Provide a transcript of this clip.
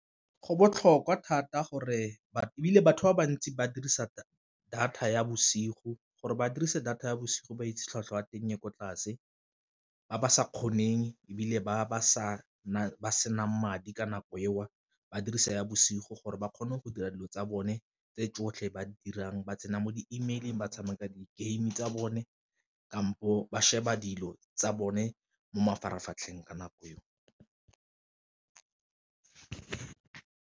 Go botlhokwa thata gore ebile batho ba bantsi ba dirisa data ya bosigo gore ba dirisa data ya bosigo ba itse tlhwatlhwa ya teng e ko tlase, ba ba sa kgoneng ebile ba ba sa ba senang madi ka nako eo ba dirisa ya bosigo gore ba kgone go dira dilo tsa bone tse tsotlhe ba dirang ba tsena mo di-email-ing, ba tshameka di-game tsa bone, kampo ba sheba dilo tsa bone mo mafaratlhatlheng ka nako eo.